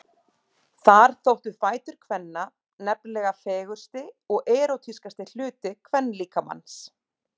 Þar þóttu fætur kvenna nefnilega fegursti og erótískasti hluti kvenlíkamans.